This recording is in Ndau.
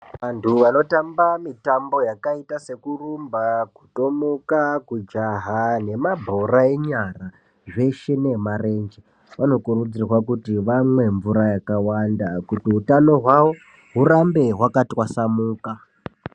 Antu anotamba mitambo yakaita sekurumba, kutomuka, kujaha nemabhora enyara zveshe nemarenje anokurudzirwa kuti vamwe mvura yakawanda kuti utano hwavo hurambe hwakatwasanuka.